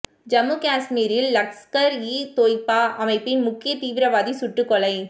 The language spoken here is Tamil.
ஜம்மு காஷ்மீரில் லஷ்கர் இ தொய்பா அமைப்பின் முக்கிய தீவிரவாதி சுட்டுக்கொலை